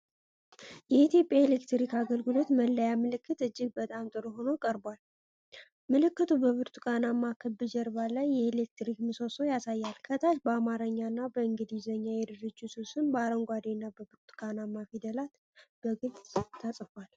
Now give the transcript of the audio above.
የኢትዮጵያ ኤሌክትሪክ አገልግሎት መለያ ምልክት እጅግ በጣም ጥሩ ሆኖ ቀርቧል። ምልክቱ በብርቱካናማ ክብ ጀርባ ላይ የኤሌክትሪክ ምሰሶን ያሳያል። ከታች በአማርኛና በእንግሊዝኛ የድርጅቱ ስም በአረንጓዴና ብርቱካናማ ፊደላት በግልፅ ተጽፏል።